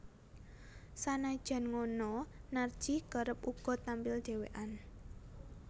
Sanajan ngono Narji kerep uga tampil dhewékan